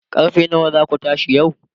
karfe nawa zaku tashi yau?